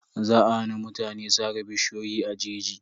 Za a hana mutane sare bishiyoyi a jeji.